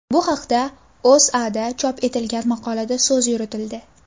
Bu haqda O‘zAda chop etilgan maqolada so‘z yuritildi .